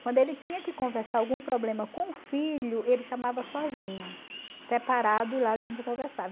Quando ele tinha que conversar algum problema com o filho, ele chamava sozinho, separado e lá a gente conversava.